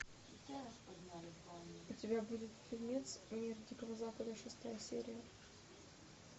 у тебя будет фильмец мир дикого запада шестая серия